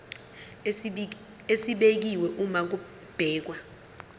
esibekiwe uma kubhekwa